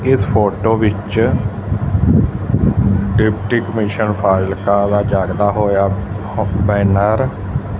ਇੱਸ ਫ਼ੋਟੋ ਵਿੱਚ deputy commission ਦਾ ਜੱਗਦਾ ਹੋਇਆ ਬੈਨਰ --